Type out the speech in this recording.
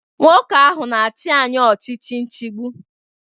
Nwoke ahụ na-achị anyị ọchịchị nchigbu.